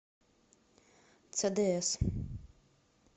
цдс